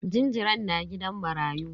Jinjiran na gidan marayu.